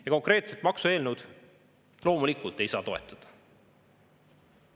Ja konkreetset maksueelnõu loomulikult ei saa toetada.